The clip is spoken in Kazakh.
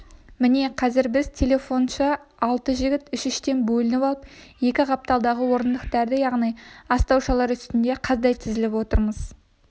міне қазір біз телефоншы алты жігіт үш-үштен бөлініп алып екі қапталдағы орындықтарда яғни астаушалар үстінде қаздай тізіліп отырмыз